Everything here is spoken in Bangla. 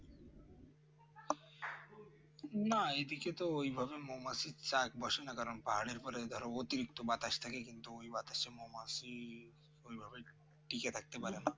না এইদিকে তো মৌমাছির চাক পাহাড়ের উপরে অতিরিক্ত বাতাস ওই বাতাসে মৌমাছি ওইভাবে টিকে থাকতে পারে না